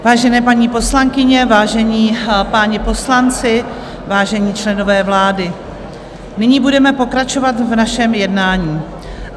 Vážené paní poslankyně, vážení páni poslanci, vážení členové vlády, nyní budeme pokračovat v našem jednání.